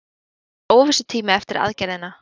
Þetta var óvissutími eftir aðgerðina.